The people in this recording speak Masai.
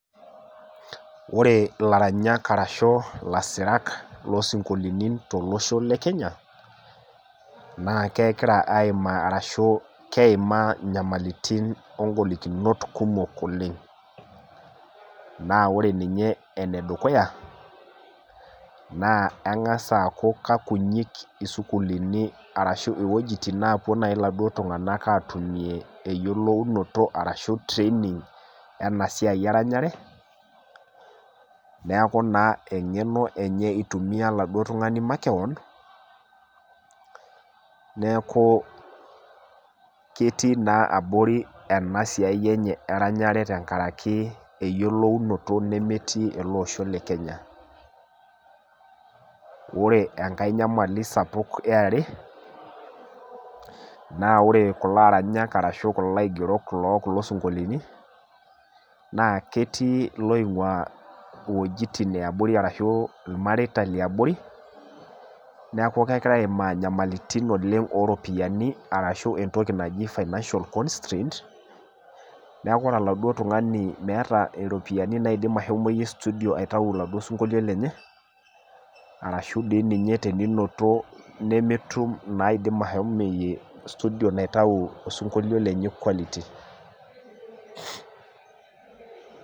Wore ilaranyak arashu ilasirak loosinkolitin tolosho le Kenya, naa kekira aimaa arashu keimaa inyamalitin ogolikinot kumok oleng'. Naa wore ninye enedukuya, naa engas aaku kekunyik isukuulini arashu ewojitin naapuo naaji ilatii tung'anak aatumie eyielounoto arashu training ena siai eranyare. Neeku naa eng'eno enye itumia oladuo tung'ani makewon, neeku ketii naa abori ena siai enye eranyare tenkaraki eyiolounoto nemetii ele osho le Kenya. Wore enkae nyamali sapuk eare, naa wore kulo aranyak arashu kulo aigerok loo kulo sinkolini, naa ketii iloing'ua iwejitin eabori arashu ilmareita liabori, neeku kekira aimaa inyamalitin oleng' ooropiyiani arashu entoki naji financial constraints, neeku wore oladuo tung'ani meeta iropiyiani naidim ashomoyie studio aitau oladuo sinkolio lenye, arashu dii ninye teninoto nemetum naidim ashomoyie studio naitayu osinkolio lenye quality.